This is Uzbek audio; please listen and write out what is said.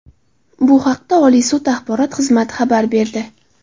Bu haqda Oliy sud axborot xizmati xabar berdi .